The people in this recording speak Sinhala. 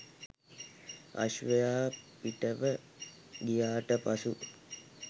අශ්වයා පිටව ගියාට පසු